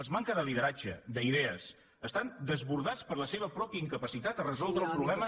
és manca de lideratge d’idees estan desbordats per la seva pròpia incapacitat de resoldre el problema